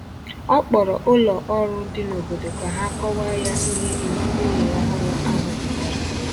Ọ kpọrọ ụlọ ọrụ dị n’obodo ka ha kọwaa ya ihe iwu ụlọ ọhụrụ ahụ pụtara